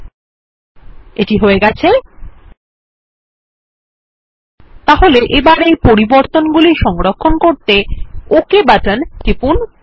ল্টপাউসেগ্ট এটি হয়ে গেছে তাহলে এই পরিবর্তনগুলি সংরক্ষণ করতে ওক বাটন টিপুন